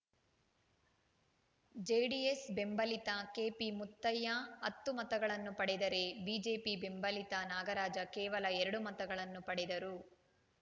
JDS ಬೆಂಬಲಿತ ಕೆಪಿಮುತ್ತಯ್ಯ ಹತ್ತು ಮತಗಳನ್ನು ಪಡೆದರೆ ಬಿಜೆಪಿ ಬೆಂಬಲಿತ ನಾಗರಾಜ ಕೇವಲ ಎರಡು ಮತಗಳನ್ನು ಪಡೆದರು